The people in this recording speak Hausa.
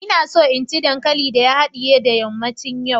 ina so in ci dankalin da ya hadiye da yammacin yau